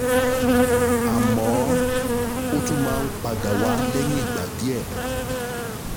Àmọ́, ó tún máa ń padà wá lẹ́yìn ìgbà díẹ̀